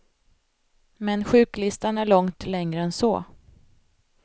Men sjuklistan är långt längre än så.